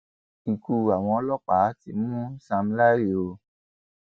ikú àwọn ọlọpàá ti mú sam larry o